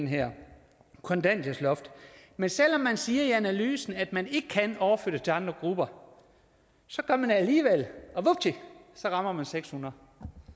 her kontanthjælpsloft men selv om man siger i analysen at man ikke kan overføre det til andre grupper så gør man det alligevel og vupti så rammer man seks hundrede